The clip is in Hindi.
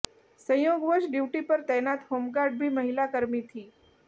संयोगवश ड्यूटी पर तैनात होमगार्ड भी महिला कर्मी थी